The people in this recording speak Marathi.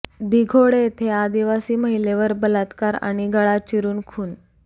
दिघोडे येथे आदिवासी महिलेवर बलात्कार आणि गळा चिरून खून